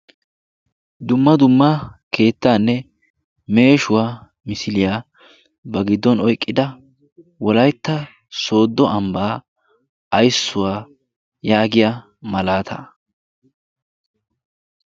dumma dumma keettaanne meeshuwaa misiiliyaa ba giddon oiqqida wolaitta sooddo ambbaa aissuwaa yaagiya malaata